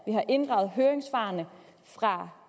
har inddraget høringssvarene fra